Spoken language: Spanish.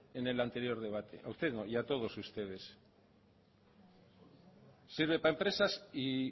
en el anterior debate a usted no y a todos ustedes sirve para empresas y